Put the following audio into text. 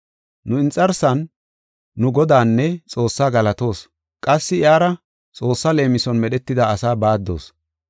Nu inxarsan, nu, Godaanne Xoossaa galatoos. Qassi iyara Xoossaa leemison Medhetida asaa baaddoos.